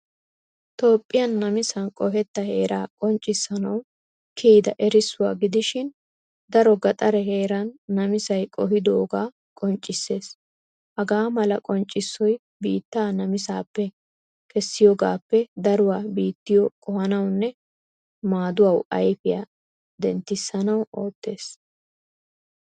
Toophphiyaa namissan qohetta heeraa qonccisanawu kiyida erissuwaa gidishin daro gaxaree heeran namisay qohidoga qonccissees. Haga mala qonccissoy biittaa namisappe kessiyogappe daruwaa biittiyo qohanawunne maaduwawu ayfiya denttisanawu oottees.